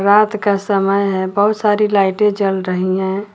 रात का समय है बहुत सारी लाइटे जल रही है।